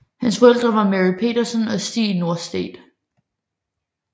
Hans forældre var Mary Petersson og Stig Norstedt